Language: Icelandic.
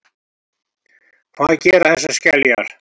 Hvað gera þessar skeljar?